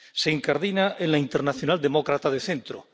Se incardina en la Internacional Demócrata de Centro.